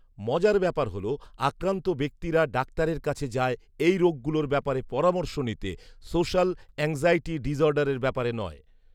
মজার ব্যাপার হলো, আক্রান্ত ব্যক্তিরা ডাক্তারের কাছে যায় এই রোগগুলোর ব্যাপারে পরামর্শ নিতে, সোশ্যাল এংজাইটি ডিসঅর্ডারের ব্যাপারে নয়